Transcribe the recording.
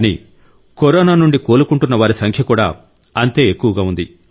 కానీ కరోనా నుండి కోలుకుంటున్న వారి సంఖ్య కూడా అంతే ఎక్కువగా ఉంది